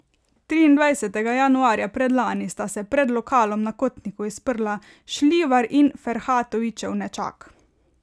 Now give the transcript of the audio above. Triindvajsetega januarja predlani sta se pred lokalom na Kotnikovi sprla Šljivar in Ferhatovićev nečak.